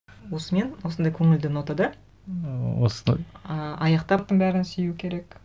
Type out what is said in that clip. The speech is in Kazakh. осымен осындай көңілді нотада ыы осыны ы аяқтап бәрін сүю керек